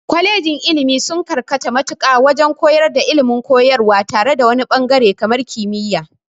Kwalejin ilmi sun karkata mutaƙa wajen koyar da ilmin koyarwa tare wani ɓangare kamar kimiya